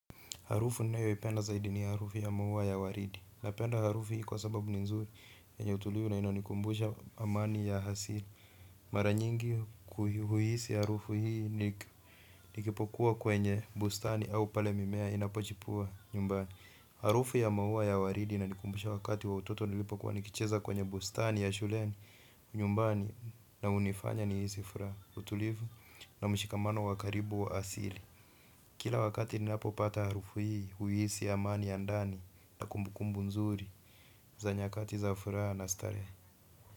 Harufu ninayoipenda zaidi ni harufu ya maua ya waridi. Napenda harufu hii kwa sababu ni nzuri, yenye utulivu na inanikumbusha amani ya asili. Mara nyingi huhisi harufu hii nikiwa kwenye bustani ama pale mimea inpochipua pale nyumbani. Harufu ya maua ya waridi inanikumbusha wakati wa utoto nilipokuwa nikicheza kwenye bustani ya shuleni. Nyumbani na hunifanya nihisi furaha, utulivu na mshikamano wa karibu wa asili. Kila wakati ninapopata harufu hii, huhisi amani ya ndani na kumbukumbu nzuri. Za nyakati za furaha na starehe.